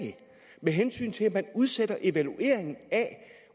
med hensyn til at man udsætter evalueringen af